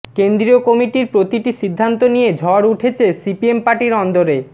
কেন্দ্রীয় কমিটির প্রতিটি সিদ্ধান্ত নিয়ে ঝড় উঠেছে সিপিএম পার্টির অন্দরে